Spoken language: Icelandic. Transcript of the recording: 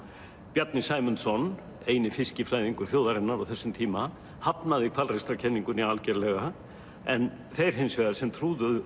Bjarni Sæmundsson eini fiskifræðingur þjóðarinnar á þessum tíma hafnaði algerlega en þeir hins vegar sem trúðu